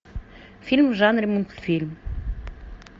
фильм в жанре мультфильм